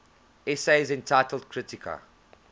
essays entitled kritika